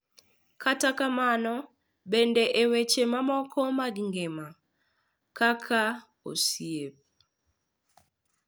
Kata kamano, bende e weche mamoko mag ngima, kaka osiep, .